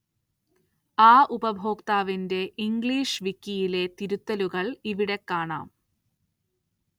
ആ ഉപയോക്താവിന്റെ ഇംഗ്ലീഷ് വിക്കിയിലെ തിരുത്തലുകള്‍ ഇവിടെ കാണാം